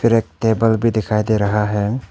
एक टेबल भी दिखाई दे रहा है।